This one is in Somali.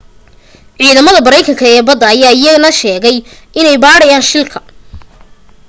ciidamada maraykanka ee badda ayaa iyana sheegay inay baadhayaan shilka